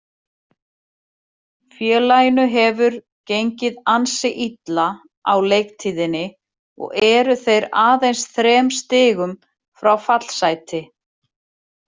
Félaginu hefur gengið ansi illa á leiktíðinni og eru þeir aðeins þrem stigum frá fallsæti.